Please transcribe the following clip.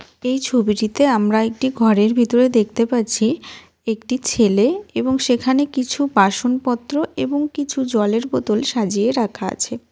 এই ছবিটিতে আমরা একটি ঘরের ভিতরে দেখতে পারছি একটি ছেলে এবং সেখানে কিছু বাসন পত্র এবং কিছু জলের বোতল সাজিয়ে রাখা আছে।